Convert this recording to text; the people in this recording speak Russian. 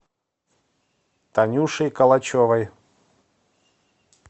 танюшей калачевой